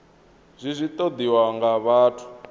zwi zwi ṱoḓiwaho nga vhathu